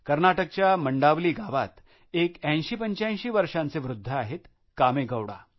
कर्नाटकच्या मंडावली भागात एक 8085 वर्षांचे वृद्ध आहेत कामेगौडा